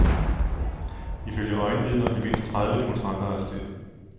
Ifølge øjenvidner blev mindst tredive demonstranter arresteret.